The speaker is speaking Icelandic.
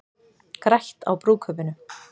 Grætt á brúðkaupinu